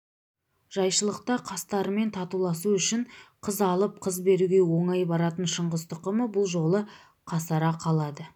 жайшылықта қастарымен татуласу үшін қыз алып қыз беруге оңай баратын шыңғыс тұқымы бұл жолы қасара қалады